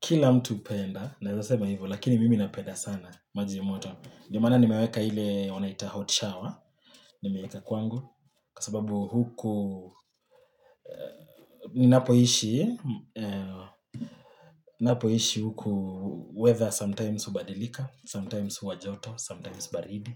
Kila mtu hupenda—naweza kusema hivyo—lakini mimi napenda sana maji ya moto. Ndiyo maana nimeweka ile wanayoita 'hot shower' kwangu, kwa sababu huku ninapoishi huku, weather sometimes hubadilika, sometimes huwajoto, sometimes baridi.